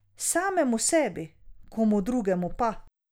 Samemu sebi, komu drugemu pa.